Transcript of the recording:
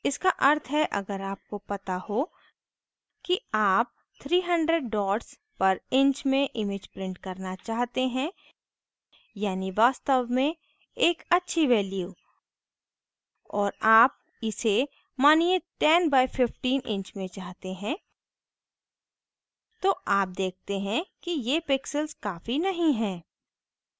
इसका अर्थ है अगर आपको it हो कि आप 300 dots पर inch में image print करना चाहते हैं यानी वास्तव में एक अच्छी value और आप इसे मानिये 10 by 15 inch में चाहते हैं तो आप देखते हैं कि ये pixels काफ़ी नहीं हैं